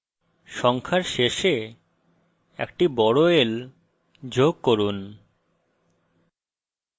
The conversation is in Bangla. সংখ্যার শেষে একটি বড় l যোগ করুন